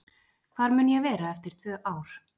Hvar mun ég vera eftir tvö ár?